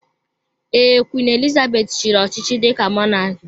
Ee, Queen Elizabeth chiri ọchịchị dika mọnak